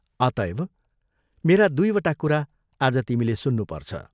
अतःएव मेरा दुइवटा कुरा आज तिमीले सुन्नुपर्छ।